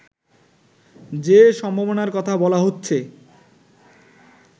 যে সম্ভাবনার কথা বলা হচ্ছে